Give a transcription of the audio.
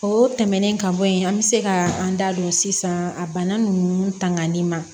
O tɛmɛnen ka bɔ yen an be se ka an da don sisan a bana nunnu tangani ma